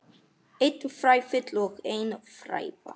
Einn fræfill og ein fræva.